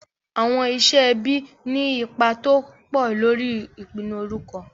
Àwọn iṣẹ́ ẹbí ní ipa tó pọ̀ lórí ìpinnu orúkọ.